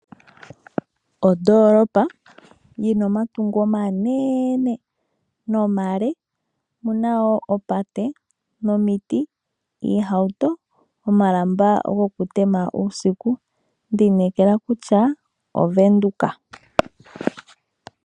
Ondoolopa yina omatungo omanene nomale yo oyina woo oopate, nomiti, iihauto, omalamba goku tema uusiku, ndi inekela kutya Ovenduka.